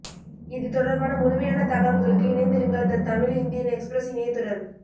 இது தொடர்பான முழுமையான தகவல்களுக்கு இணைந்திருங்கள் தி தமிழ் இந்தியன் எக்ஸ்பிரஸ் இணையத்துடன்